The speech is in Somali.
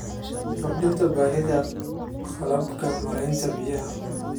Kordhinta baahida qalabka maaraynta biyaha.